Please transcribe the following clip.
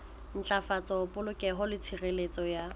ntlafatsa polokeho le tshireletso ya